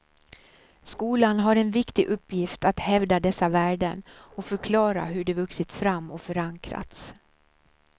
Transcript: Skolan har en viktig uppgift att hävda dessa värden och förklara hur de vuxit fram och förankrats.